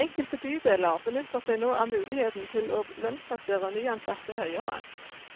Enkelte bydeler benytter seg nå av muligheten til å lønnsplassere nyansatte høyere,